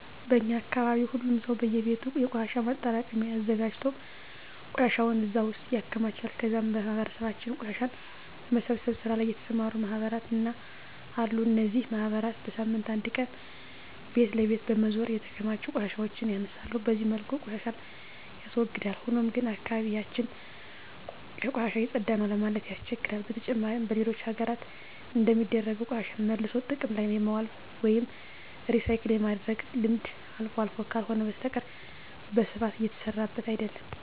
በእኛ አካባቢ ሁሉም ሰው በእየቤቱ የቆሻሻ ማጠራቀሚያ አዘጋጅቶ ቆሻሻውን እዛ ውስጥ ያከማቻል ከዛም በማህበረሰባችን ቆሻሻን በመሰብሰብ ስራ ላይ የተሰማሩ ማህበራት አሉ። እነዚህ ማህበራት በሳምንት አንድ ቀን ቤት ለቤት በመዞር የተከማቹ ቆሻሻዎችን ያነሳሉ። በዚህ መልኩ ቆሻሻን ያስወግዳል። ሆኖም ግን አካባቢ ያችን ከቆሻሻ የፀዳ ነው ለማለት ያስቸግራል። በተጨማሪም በሌሎች ሀገራት እንደሚደረገው ቆሻሻን መልሶ ጥቅም ላይ የማዋል ወይም ሪሳይክል የማድረግ ልምድ አልፎ አልፎ ካልሆነ በስተቀረ በስፋት እየተሰራበት አይደለም።